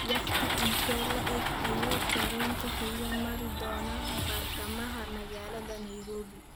Waqti intee le'eg ayuu tareenka xiga mari doonaa bartamaha magaalada nairobi